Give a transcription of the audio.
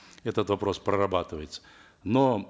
этот вопрос прорабатывается но